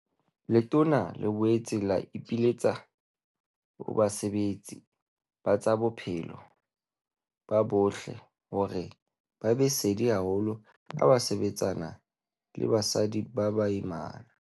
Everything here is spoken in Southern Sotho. Letona le boetse la ipiletsa ho basebeletsi ba tsa bophelo bo botle hore ba be sedi haholo ha ba sebetsana le basadi ba baimana.